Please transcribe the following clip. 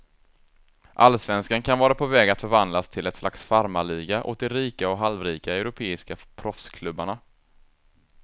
Allsvenskan kan vara på väg att förvandlas till ett slags farmarliga åt de rika och halvrika europeiska proffsklubbarna.